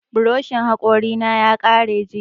Buroshin haƙori na ya karye jiya